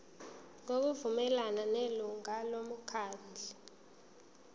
ngokuvumelana nelungu lomkhandlu